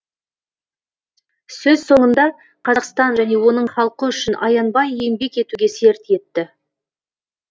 сөз соңында қазақстан және оның халқы үшін аянбай еңбек етуге серт етті